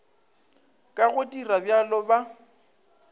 ka go dira bjalo ba